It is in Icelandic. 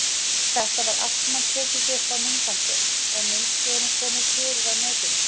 Þetta var allt saman tekið upp á myndband og myndskeiðinu komið fyrir á netinu.